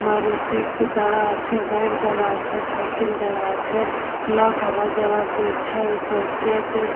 মারুতি উ দাঁড়া আছে বাইক দাঁড়া আছে সাইকেল দাঁড়া আছে লোক আওয়া যাওয়া করছে চরছে এতে।